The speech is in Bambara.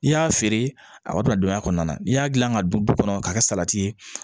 I y'a feere a b'a bila don a kɔnɔna na n'i y'a dilan ka don du kɔnɔ k'a kɛ salati ye